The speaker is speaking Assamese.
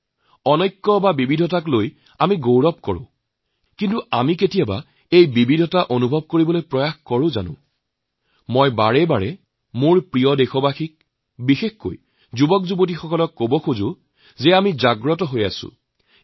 বৈচিত্ৰতাৰ বাবে আমি গৌৰৱান্দিত অথচ যি বৈচিত্ৰ্যতাৰ বাবে আমি গৰ্বিত নিজৰ সেই বৈচিত্ৰতাৰ বৈশিষ্ট্যক অনুভৱ কৰাৰ চেষ্টা কেতিয়াবা কৰেনে মই ভাৰতৰ সকলো দেশবাসীক বাৰম্বাৰ কওঁ বিশেষকৈ যুৱপ্ৰজন্মক কব বিচাৰো যে আমি এক জাগ্ৰত অৱস্থাৰ মাজত আছো